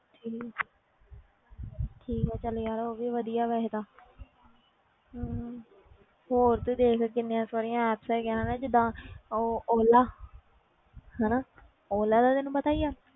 ਠੀਕ ਹੈ ਠੀਕ ਹੈ ਚੱਲ ਯਾਰ ਉਹ ਵੀ ਵਧੀਆ ਵੈਸੇ ਤਾਂ ਹਮ ਹੋਰ ਤੂੰ ਦੇਖ ਕਿੰਨੀਆਂ ਸਾਰੀਆਂ apps ਹੈਗੀਆਂ ਨੇ ਜਿੱਦਾਂ ਉਹ ਓਲਾ ਹਨਾ ਓਲਾ ਦਾ ਤੈਨੂੰ ਪਤਾ ਹੀ ਆ,